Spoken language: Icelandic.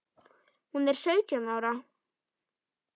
Hún er sautján ára.